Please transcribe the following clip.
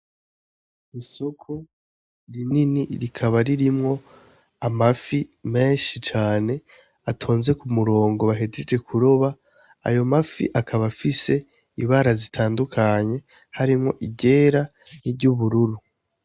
Isoko rinini rikaba ririmwo amafi menshi cane atonze kumurongo bahejeje kuroba, ayo mafi akaba afise ibara zitandukanye, harimwo iryera ni ry'ubururu.